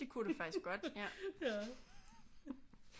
Det kunne det faktisk godt ja